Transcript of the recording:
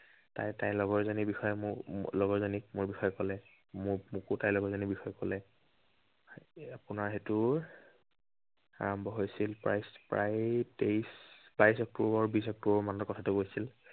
তাই তাইৰ লগৰজনীৰ বিষয়ে মোক, লগৰজনীক মোৰ বিষয়ে কলে। মোক, মোকো তাই লগৰজনীৰ বিষয়ে কলে। আপোনাৰ সেইটো আৰম্ভ হৈছিল প্ৰায়, প্ৰায় তেইশ, বাইশ অক্টোৱৰ, বিশ অক্টোৱৰ মানত কথাটো কৈছিল।